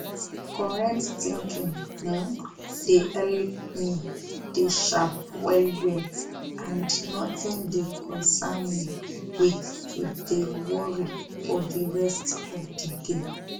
correct tinkin um de help me de sharp well well and notin de concen me wit to de worry for de rest of de day